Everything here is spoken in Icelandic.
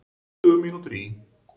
Tuttugu mínútur í